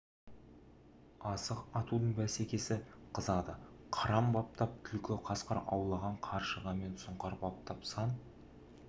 асық атудың бәсекесі қызады қыран баптап түлкі қасқыр аулаған қаршыға мен сұңқар баптап сан